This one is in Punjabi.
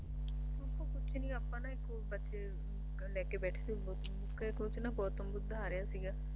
ਕੁਛ ਨੀ ਆਪਣਾ ਇੱਕ ਉਹ ਬੱਚੇ ਲੈਕੇ ਬੈਠੇ ਸੀ ਗੌਤਮ ਬੁੱਧਾ ਆ ਰਿਹਾ ਸੀਗਾ